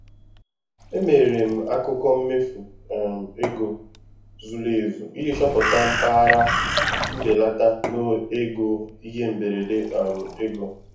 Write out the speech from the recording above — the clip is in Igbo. Emere m akụkọ mmefu um ego zuru ezu iji chọpụta mpaghara nbelata n'oge ihe mberede um ego.